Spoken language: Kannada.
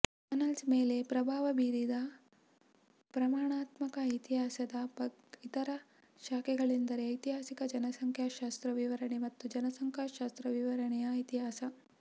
ಆನಲ್ಸ್ ಮೇಲೆ ಪ್ರಭಾವ ಬೀರಿದ ಪ್ರಮಾಣಾತ್ಮಕ ಇತಿಹಾಸದ ಇತರ ಶಾಖೆಗಳೆಂದರೆ ಐತಿಹಾಸಿಕ ಜನಸಂಖ್ಯಾಶಾಸ್ತ್ರ ವಿವರಣೆ ಮತ್ತು ಜನಸಂಖ್ಯಾಶಾಸ್ತ್ರ ವಿವರಣೆಯ ಇತಿಹಾಸ